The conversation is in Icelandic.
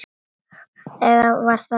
Eða var það brauð?